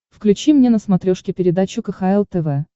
включи мне на смотрешке передачу кхл тв